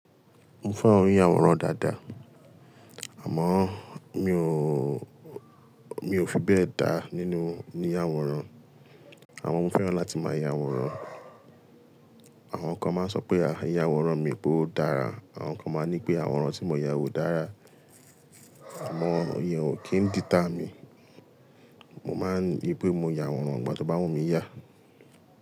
Mo fẹ́ràn i ya wòrán dáadáa, àmọ́ mi ò, mi ò fi bẹ́ẹ̀ dá nínú ní àwòrán. Àmọ mo fẹ́ràn láti máa ya àwòrán, àwọn kan máa ń sọ pé a iyàwòrán mi pé ó dára, àwọn kan máa ń ní pé àwòrán tí mo yà ò dára. Àmọ́ ìyẹn ò kí ń determine, mo máa ń rí pé mo ya àwòrán ìgbà to báwu mi yà.